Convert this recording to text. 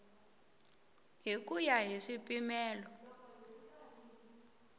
hi ku ya hi swipimelo